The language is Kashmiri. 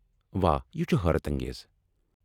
واہ ، یہ چُھ حٲرت انگیز۔